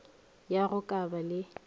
ya go ka ba le